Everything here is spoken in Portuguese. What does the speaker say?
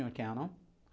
Cannon.